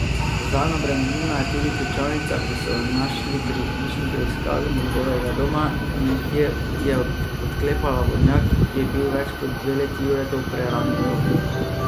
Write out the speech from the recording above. Zanj obremenilna je tudi ključavnica, ki so jo našli pri hišni preiskavi njegovega doma in ki je odklepala vodnjak, ki je bil več kot dve leti Juretov prerani grob.